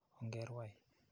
Onge rwai.